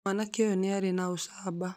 Mwanake ũyũ nĩ arĩ na ũcamba